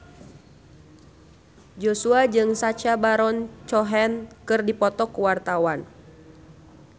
Joshua jeung Sacha Baron Cohen keur dipoto ku wartawan